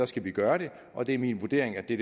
skal vi gøre det og det er min vurdering at det